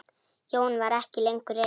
Jóhann var ekki lengur reiður.